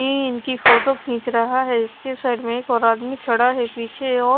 इ इनकी फोटो खींच रहा है इसके साइड में एक और आदमी खड़ा है पीछे और--